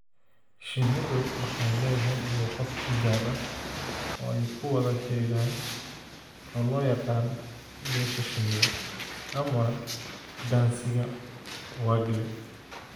Shinnidu waxay leedahay luqad u gaar ah oo ay ku wada xidhiidhaan, oo loo yaqaan "dheesha shinnida" ama "Dansiga Waggle".